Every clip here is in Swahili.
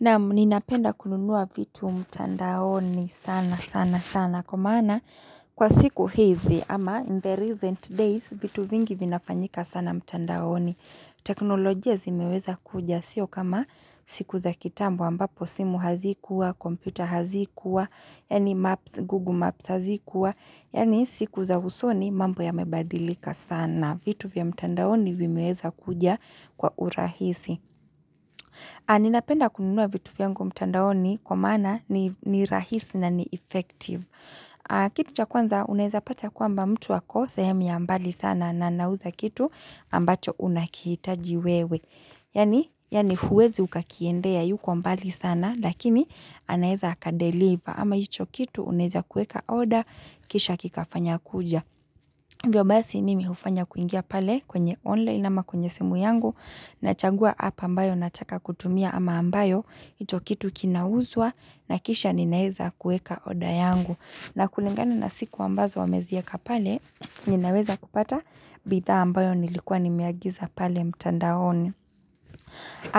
Naam ninapenda kununua vitu mtandaoni sana sana sana kwa maana kwa siku hizi ama in the recent days vitu vingi vinafanyika sana mtandaoni. Teknolojia zimeweza kuja sio kama siku za kitambo ambapo simu hazikuwa, kompyuta hazikuwa, yani maps, google maps hazikuwa, yani siku za usoni mambo ya mebadilika sana. Vitu vya mtandaoni vimeweza kuja kwa urahisi. Ni napenda kununua vitu vyangu mtandaoni kwa maana ni rahisi na ni effective. Kitu cha kwanza unaeza pata kwamba mtu ako sehemu ya mbali sana na anauza kitu ambacho unakihitaji wewe. Yani huwezi uka kiendea yuko mbali sana lakini anaeza aka deliver ama hicho kitu unaeza kueka order kisha kikafanya kuja. Hivyo basi mimi ufanya kuingia pale kwenye online ama kwenye simu yangu na chagua app ambayo nataka kutumia ama ambayo hicho kitu kinauzwa na kisha ninaeza kueka order yangu. Na kulingana na siku ambazo ameziaka pale ninaweza kupata bidhaa ambayo nilikua nimeagiza pale mtandaoni.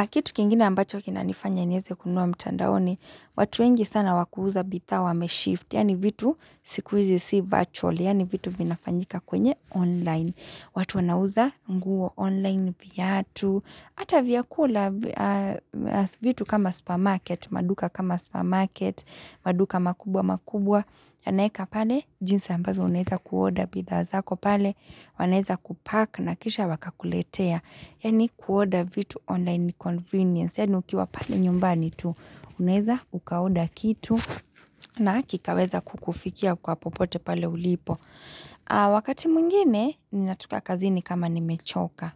Kitu kingine ambacho kina nifanya nieze kununua mtandaoni, watu wengi sana wakuuza bidhaa wameshift, yani vitu siku izi si virtual, yaani vitu vinafanyika kwenye online. Watu wanauza nguo online viatu, ata vyakula vitu kama supermarket, maduka kama supermarket, maduka makubwa makubwa. Anaeka pale jinsi ambavyo unaeza ku order bidhaa zako pale wanaeza ku pack na kisha waka kuletea yani ku order vitu online ni convenience yani ukiwa pale nyumbani tu uneza uka order kitu na kikaweza kukufikia kwa popote pale ulipo wakati mwingine ni natoka kazini kama nimechoka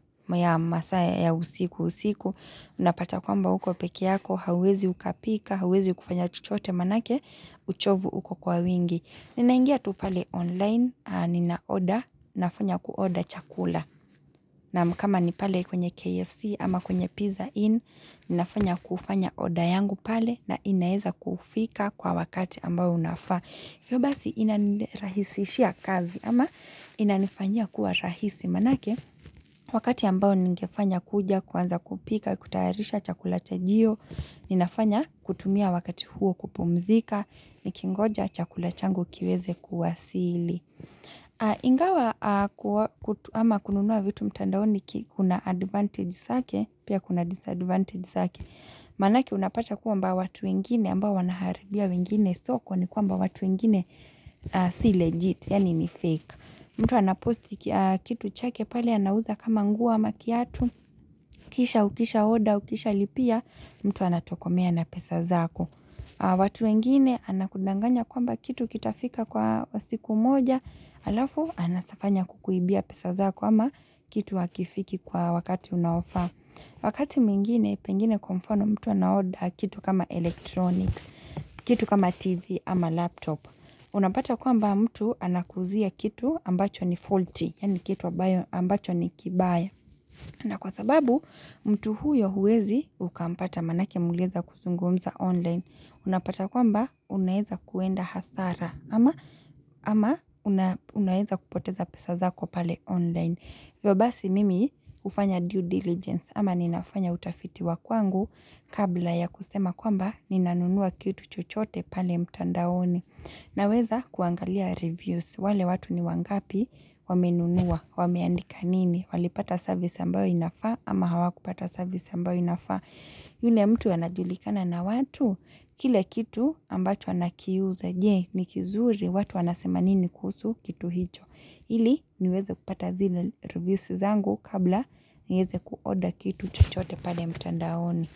masaya ya usiku usiku unapata kwamba uko peke yako hauwezi ukapika hauwezi ukafanya chochote manake uchovu uko kwa wingi, ninaingia tu pale online nina order nafanya ku order chakula naam kama nipale kwenye KFC ama kwenye PIZZA IN nafanya kufanya order yangu pale na inaeza kufika kwa wakati ambao unafaa. Hivyo basi inanirahisishia kazi ama inanifanyia kuwa rahisi manake wakati ambao ningefanya kuja kuanza kupika kutayarisha chakula chajio ninafanya kutumia wakati huo kupumzika ni kingoja chakula changu kiweze kuwasili ingawa ama kununua vitu mtandaoni kuna advantage sake pia kuna disadvantage sake manake unapata kwamba watu wengine ambao wanaharibia wengine soko ni kwamba watu wengine si legit yani ni fake mtu anaposti kitu chake pale anauza kama nguo ama kiatu kisha ukisha order ukisha lipia mtu anatokomea na pesa zako watu wengine anakudanganya kwamba kitu kitafika kwa siku moja, alafu anasafanya kukuibia pesa zako ama kitu hakifiki kwa wakati unao faa. Wakati mwingine, pengine kwa mfano mtu ana order kitu kama electronic, kitu kama TV ama laptop. Unapata kwamba mtu anakuuzia kitu ambacho ni faulty, yani kitu ambacho ni kibaya. Na kwa sababu mtu huyo huwezi ukampata manake mulieza kuzungumza online. Unapata kwamba unaeza kuenda hasara ama unaeza kupoteza pesa zako pale online. Hivyo basi mimi ufanya due diligence ama ninafanya utafiti wa kwangu kabla ya kusema kwamba ni nanunua kitu chochote pale mtandaoni. Na weza kuangalia reviews, wale watu ni wangapi wame nunua, wameandika nini, walipata service ambayo inafaa ama hawakupata service ambayo inafaa. Yule mtu anajulikana na watu, kile kitu ambacho anakiuza je, nikizuri, watu wanasema nini kusu kitu hicho. Ili niweze kupata zile reviews zangu kabla niweze ku order kitu chuchote pale mtandaoni.